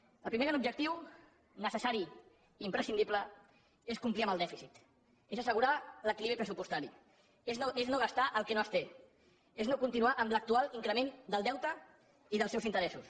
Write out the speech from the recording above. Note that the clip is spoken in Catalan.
el primer gran objectiu necessari i imprescindible és complir amb el dèficit és assegurar l’equilibri pressupostari és no gastar el que no es té és no continuar amb l’actual increment del deute i dels seus interessos